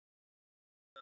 Já, mig grunaði það líka.